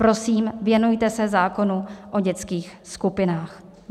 Prosím, věnujte se zákonu o dětských skupinách.